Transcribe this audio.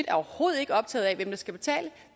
er overhovedet ikke optaget af hvem der skal betale